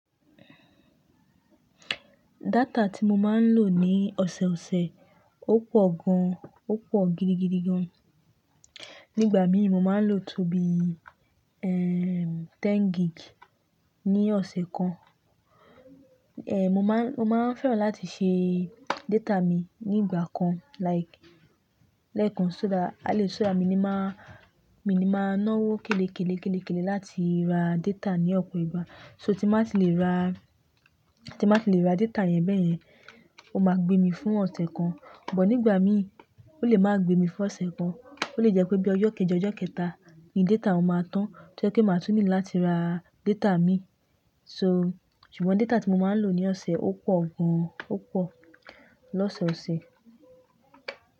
Data tí mo máa ń lò ní ọ̀sẹ̀ ọ̀sẹ̀ ó pọ̀ gan, ó pọ̀ gidigidi gan. Nígbà mí mo máa ń lò tó bí, ẹ́ẹ́ ẹẹ́ mẹ́wàá gig ní ọ̀sẹ̀ kan. Ehn, mo máa, mo máa ń fẹ́ràn láti ṣe data mi ní ìgbà kan like lẹ́ẹ̀kan só dá, a lè so dá mi ní má, mi ní máa náwó kèlè kèlè kèlè kèlè láti ra data ní ọ̀pọ̀ ìgbà. So tí máa ti le ra, tí máa ti le ra data yẹn bẹ́yẹn, ó máa gbé mi fún ọ̀sẹ̀ kan. Ṣùgbọ́n nígbà mí ó lè máa gbé mi fún ọ̀sẹ̀ kan, ó lè jẹ́ pé bí ọjọ́ kẹjọ ọjọ́ kẹta ni data ò máa tán, tí ẹ́ jẹ́ kí n máa tún ní láti ra data mi. So, ṣùgbọ́n data tí mo máa ń lò ní ọ̀sẹ̀ ó pọ̀ gan, ó pọ̀ lọ́sẹ̀ ọ̀sẹ̀.